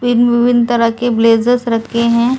विभिन्न-विभिन्न तरह के ब्लेजर्स रखे हैं।